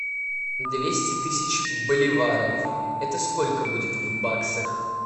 двести тысяч боливаров это сколько будет в баксах